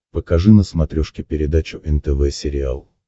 покажи на смотрешке передачу нтв сериал